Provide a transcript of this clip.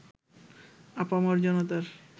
আপামর জনতার